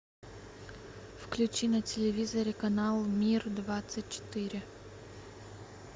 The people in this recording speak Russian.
включи на телевизоре канал мир двадцать четыре